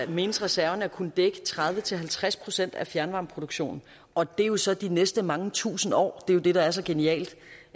menes reserverne at kunne dække tredive til halvtreds procent af fjernvarmeproduktionen og det er jo så de næste mange tusinde år er jo det der er så genialt